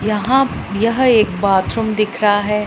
यहां यह एक बाथरूम दिख रहा हैं।